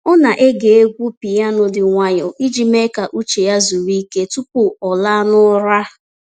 Ọ na-ege egwu piyano dị nwayọọ iji mee ka uche ya zuru ike tupu ọ laa n’ụra.